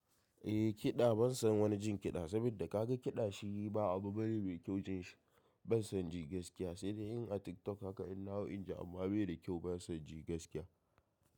Eh kiɗa ban san wani jin kiɗa, saboda kaga kiɗa shi ba abu bane mai kyau jin shi. Ban san ji gaskiya sai dai in a TikTok haka in nahau in ji amma bai da kyau ban san ji gaskiya.